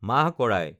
মাহ কৰাই